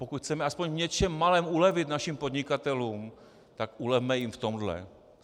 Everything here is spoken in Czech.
Pokud chceme aspoň v něčem malém ulevit našim podnikatelům, tak ulevme jim v tomhle.